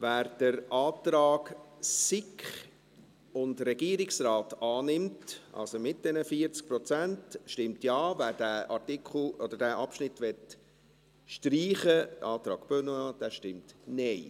Wer den Antrag SiK und Regierungsrat annimmt, also mit diesen 40 Prozent, stimmt Ja, wer den Artikel oder diesen Abschnitt streichen möchte – gemäss Antrag Benoit –, stimmt Nein.